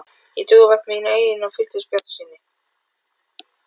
Ég trúði vart mínum eigin augum og fylltist bjartsýni.